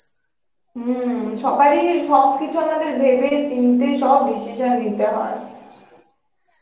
হম সবার ই সব কিছু আমাদের ভেবে চিনতে সব decision নিতে হয়